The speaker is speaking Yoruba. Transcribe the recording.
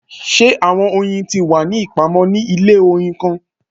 Ṣe awọn oyin ti wa ni ipamọ ni ile oyin kan?